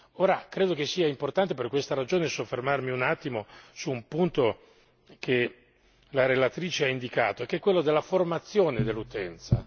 Ora credo che sia importante per questa ragione soffermarmi un attimo su un punto che la relatrice ha indicato e che è quello della formazione dell'utenza.